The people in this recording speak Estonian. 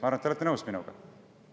Ma arvan, et te olete minuga nõus.